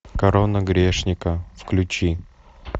корона грешника включи